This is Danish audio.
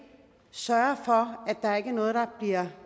sørge for at der ikke er noget der bliver